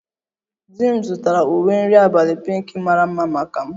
Di m zụtara uwe nri abalị pinkị mara mma maka m